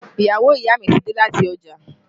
Ìyàwó ìyá mi ti dé láti ọjà